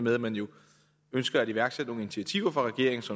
med at man ønsker at iværksætte nogle initiativer fra regeringens